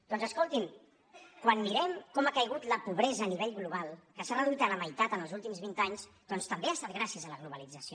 doncs escoltin quan mirem com ha caigut la pobresa a nivell global que s’ha reduït a la meitat en els últims vint anys doncs també ha estat gràcies a la globalització